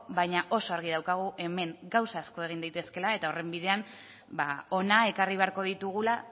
baina oso argi daukagu hemen gauza asko egin daitezkeela eta horren bidean hona ekarri beharko ditugula